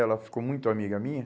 Ela ficou muito amiga minha.